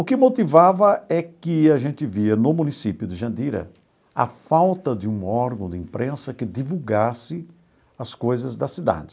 O que motivava é que a gente via no município de Jandira a falta de um órgão de imprensa que divulgasse as coisas da cidade.